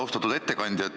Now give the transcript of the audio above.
Austatud ettekandja!